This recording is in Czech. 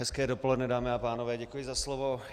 Hezké dopoledne, dámy a pánové, děkuji za slovo.